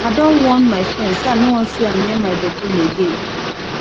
i don warn my friend say i no wan see am near my bedroom again